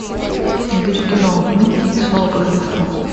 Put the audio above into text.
набери кино микки и снова под рождество